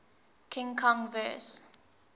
king kong vs